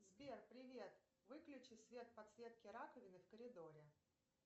сбер привет выключи свет подсветки раковины в коридоре